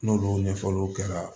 N'olu ɲɛfɔliw kɛra